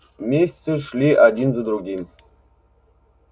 месяцы шли один за другим